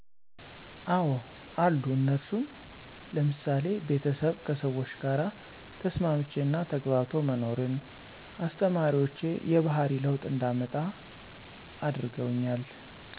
አዎ አሉ እነርሱም፦ ለምሳሌ ቤተሰብ ከሰዎች ጋር ተስማምቼ እና ተግባብቶ መኖርን፤ አስለማሪዎቼ የባህሪ ለውጥ እንዳመጣ አድርጠውኛል።